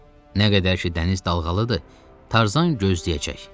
Nə qədər ki dəniz dalğalıdır, Tarzan gözləyəcək.